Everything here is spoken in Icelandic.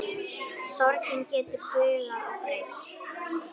Sorgin getur bugað og beygt.